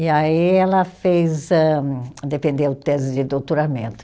E aí ela fez âh, defendeu tese de doutoramento.